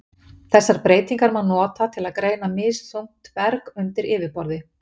Þessar breytingar má nota til að greina misþungt berg undir yfirborði.